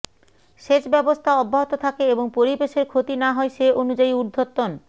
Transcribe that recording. সেচ ব্যবস্থা অব্যাহত থাকে এবং পরিবেশের ক্ষতি না হয় সে অনুযায়ী ঊর্ধ্বতন